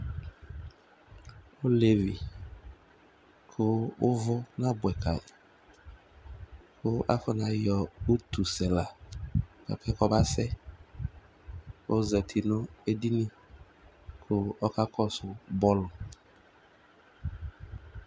olevi kò uvò na boɛ ka yi kò afɔna yɔ utu sɛ la boa pɛ k'ɔba sɛ k'ozati no edini kò ɔka kɔsu bɔlu.